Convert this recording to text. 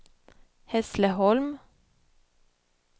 Hässleholm